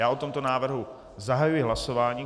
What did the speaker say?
Já o tomto návrhu zahajuji hlasování.